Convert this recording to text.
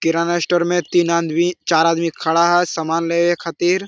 किराना store मे तीन आदमी चार आदमी खड़ा है समान लेवे खातिर।